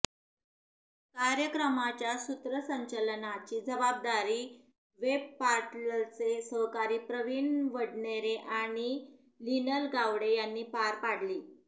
कार्यक्रमाच्या सूत्रसंचालनाची जबाबदारी वेबपोर्टलचे सहकारी प्रवीण वडनेरे आणि लीनल गावडे यांनी पार पाडली